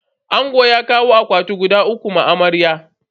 Angon ya kawo akwati guda uku ma amarya.